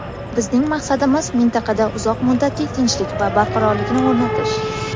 Bizning maqsadimiz – mintaqada uzoq muddatli tinchlik va barqarorlikni o‘rnatish.